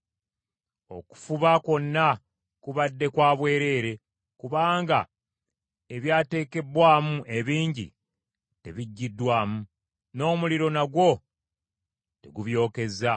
Okufuba kwonna kubadde kwa bwereere, kubanga ebyateekebbwamu ebingi tebiggiddwamu, n’omuliro nagwo tegubyokeza.